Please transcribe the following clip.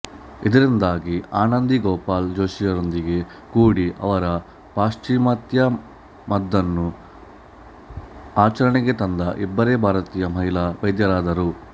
ಇದರಿಂದಾಗಿ ಆನಂದಿ ಗೋಪಾಲ್ ಜೋಶಿಯಾರೊಂದಿಗೆ ಕೂಡಿ ಅವರು ಪಾಶ್ಚಿಮಾತ್ಯ ಮದ್ದನು ಆಚರಣೆಗೆ ತಂದ ಇಬ್ಬರೇ ಭಾರತೀಯ ಮಹಿಳಾ ವೈದ್ಯರಾದರು